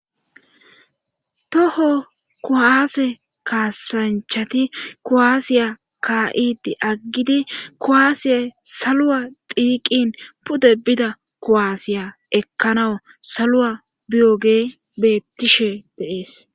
Toho kowaase kaasanchati kowaasiya ka7idi aggidi kowaasiyay salua dhiiqin pude bida kowaasiya ekkanawu salua biyoge bettishe deees.